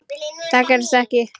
Það gerðist ekki.